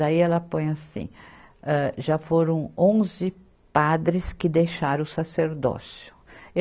Daí ela põe assim, âh, já foram onze padres que deixaram o sacerdócio.